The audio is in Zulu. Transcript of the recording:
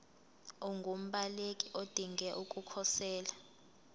ungumbaleki odinge ukukhosela